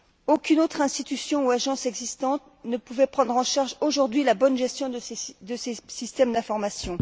Aucune autre institution ou agence existante ne pouvait prendre en charge, aujourd'hui, la bonne gestion de ces systèmes d'information.